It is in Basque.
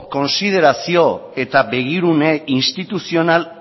kontsiderazio eta begirune instituzional